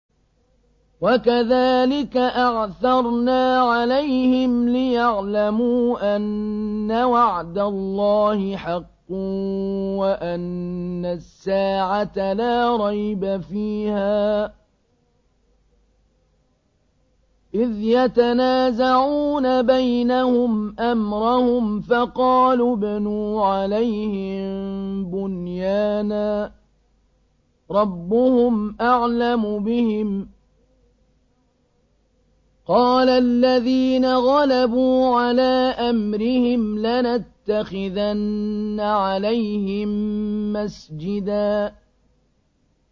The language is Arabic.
وَكَذَٰلِكَ أَعْثَرْنَا عَلَيْهِمْ لِيَعْلَمُوا أَنَّ وَعْدَ اللَّهِ حَقٌّ وَأَنَّ السَّاعَةَ لَا رَيْبَ فِيهَا إِذْ يَتَنَازَعُونَ بَيْنَهُمْ أَمْرَهُمْ ۖ فَقَالُوا ابْنُوا عَلَيْهِم بُنْيَانًا ۖ رَّبُّهُمْ أَعْلَمُ بِهِمْ ۚ قَالَ الَّذِينَ غَلَبُوا عَلَىٰ أَمْرِهِمْ لَنَتَّخِذَنَّ عَلَيْهِم مَّسْجِدًا